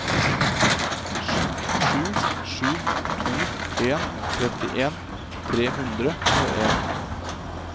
sju sju to en trettien tre hundre og en